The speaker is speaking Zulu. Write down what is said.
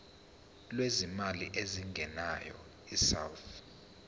lwezimali ezingenayo isouth